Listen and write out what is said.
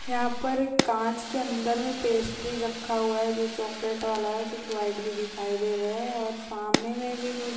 यहा पर एक काँच के अंदर एक पेस्ट्री रखा हुआ है जो चॉकलेट वाला है कुछ व्हाइट दिखाई दे रहे और सामने मे भी कुछ--